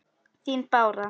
Þín Bára.